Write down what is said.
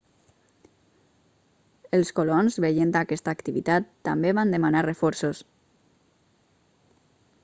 els colons veient aquesta activitat també van demanar reforços